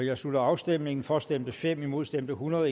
jeg slutter afstemningen for stemte fem imod stemte hundrede